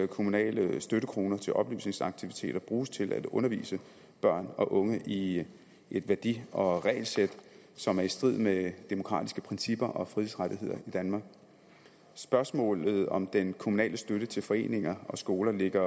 kommunale støttekroner til oplysningsaktiviteter bruges til at undervise børn og unge i et værdi og regelsæt som er i strid med demokratiske principper og frihedsrettigheder i danmark spørgsmålet om den kommunale støtte til foreninger og skoler ligger